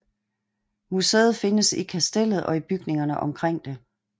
Museet findes i Kastellet og i bygningerne omkring det